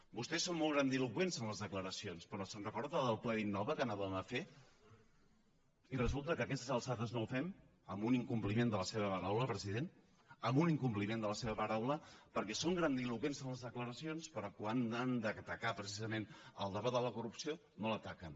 vostès són molt grandiloqüents en les declaracions però se’n recorda del ple d’innova que havíem de fer i resulta que a aquestes alçades no el fem amb un incompli ment de la seva paraula president amb un incompliment de la seva paraula perquè són grandiloqüents en les declaracions però quan han d’atacar precisament el debat de la corrupció no l’ataquen